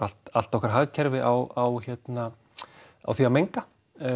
allt allt okkar hagkerfi á því að menga